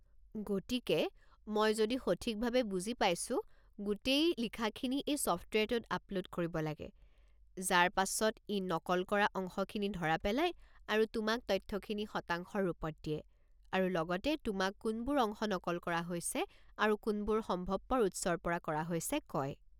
গতিকে, মই যদি সঠিকভাৱে বুজি পাইছো, গোটেই লিখাখিনি এই ছফ্টৱেৰটোত আপলোড কৰিব লাগে, যাৰ পাছত ই নকল কৰা অংশখিনি ধৰা পেলায় আৰু তোমাক তথ্যখিনি শতাংশৰ ৰূপত দিয়ে, আৰু লগতে তোমাক কোনবোৰ অংশ নকল কৰা হৈছে আৰু কোনবোৰ সম্ভৱপৰ উৎসৰ পৰা কৰা হৈছে কয়।